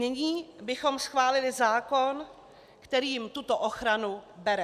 Nyní bychom schválili zákon, který jim tuto ochranu bere.